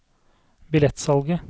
billettsalget